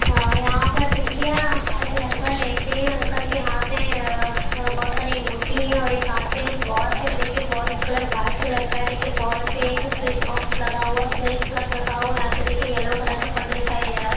हा यहाँ पर देखिए आ एक अंकल लेटे है अंकल के हाथ में आ बहुत सारी अंगूठी है और एक हाथ पे वाच है और देखिए वाल देखिए वाल कलर व्हाइट कलर का है देखिए वाल पे एक स्विच बॉक्स लगा हुआ है उसमें एक प्लग लगा हुआ है यहाँ पर देखिए येल्लो कलर का पर्दा दिखाई दे रहा है ।